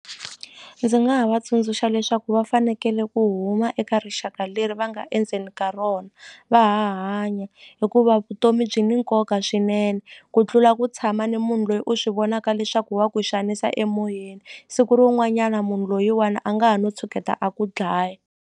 Ndzi nga va tsundzuxa leswaku va fanekele ku huma eka rixaka leri va nga endzeni ka rona va ha hanya hikuva vutomi byi ni nkoka swinene ku tlula ku tshama ni munhu loyi u swi vonaka leswaku wa ku xanisa emoyeni siku rin'wanyana munhu loyiwani a nga ha no tshuketa a ku dlaya.